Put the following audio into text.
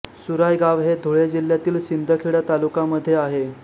सुराय गाव हे धुळे जिल्ह्यातील शिंदखेडा तालुका मध्ये आहे